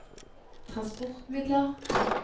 transportmidler